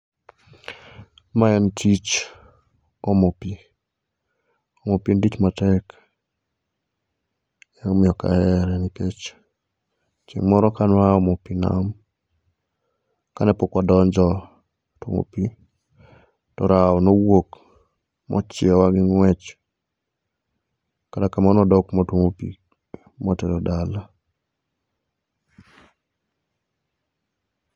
Maen tich omo pii. Omo pii en tich matek emomiyo ok ahere nikech chieng moro ka nwa aa omo pii e nam, kanepok wadonjo tuomo pii to rao nowuok machiaowa gi ngwech kata kamano nwadok mwatuomo pii, mawatero dala